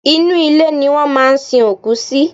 Inú ilẹ̀ ni wọ́n máa ń sin òkú sí.